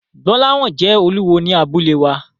Gbolahan jẹ́ olúwo ní abúlé wa.